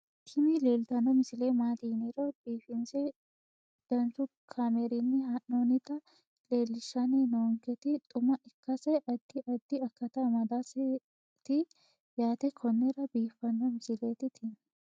tini leeltanni noo misile maaati yiniro biifinse danchu kaamerinni haa'noonnita leellishshanni nonketi xuma ikkase addi addi akata amadaseeti yaate konnira biiffanno misileeti tini